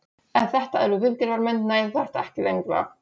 Ef þetta eru viðgerðarmenn nær þetta ekki lengra.